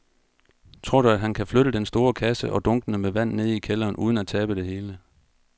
Tror du, at han kan flytte den store kasse og dunkene med vand ned i kælderen uden at tabe det hele?